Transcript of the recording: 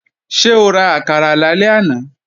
Ṣé o ra àkàrà lálẹ́ àná?